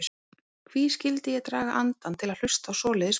Hví skyldi ég draga andann til að hlusta á svoleiðis barnalög.